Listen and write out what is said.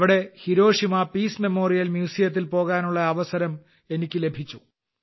അവിടെ Hiroshima Peace Memorial Museum ത്തിൽ പോകാനുള്ള അവസരം എനിയ്ക്ക് ലഭിച്ചു